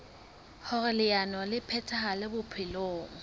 hoer leano le phethahale bophelong